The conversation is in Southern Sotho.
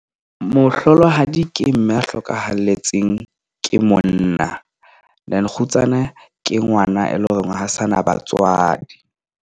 Mohlolohadi ke mme a hlokahalletseng ke monna. Then kgutsana ke ngwana, e leng hore ha ho sana batswadi.